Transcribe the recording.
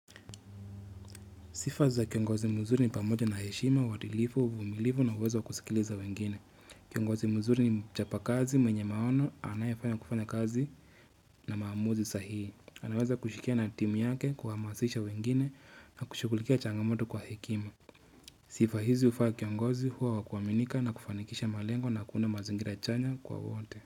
Sifa za kiongozi mzuri ni pamoja na heshima, wadilifu, uvumilivu na uweza wa kusikiliza wengine. Kiongozi mzuri ni mchapa kazi, mwenye maono anayependa kufanya kazi. Na maamuzi sahii. Anaweza kushikia na timu yake, kuhamasisha wengine na kushughulikia changamoto kwa hekima. Sifa hizi ufaa kiongozi, huwa wa kuaminika na kufanikisha malengo na kuunda mazungira chanya kwa wote.